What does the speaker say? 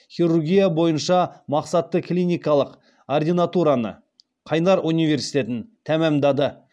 хирургия бойынша мақсатты клиникалық ординатураны қайнар университетін тәмамдады